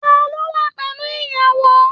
Taló wà pẹlú ìyàwó?